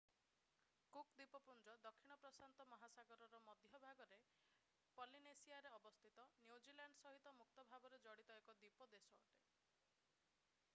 cook ଦ୍ୱୀପପୁଞ୍ଜ ଦକ୍ଷିଣ ପ୍ରଶାନ୍ତ ମହାସାଗରର ମଧ୍ୟଭାଗରେ ପଲିନେସିଆରେ ଅବସ୍ଥିତ ନ୍ୟୁଜିଲ୍ୟାଣ୍ଡ ସହିତ ମୁକ୍ତ ଭାବରେ ଜଡିତ ଏକ ଦ୍ୱୀପ ଦେଶ ଅଟେ